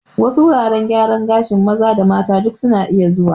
Wasu wuraren gyaran gashin maza da mata duk suna iya zuwa